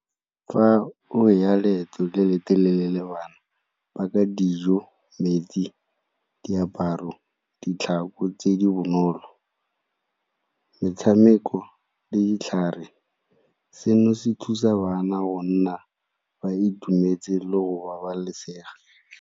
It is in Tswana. Fa o ya leeto le le telele le bana paka dijo, metsi, diaparo, ditlhako tse di bonolo, metshameko le ditlhare seno se thusa bana gonna ba itumetse le go babalesega.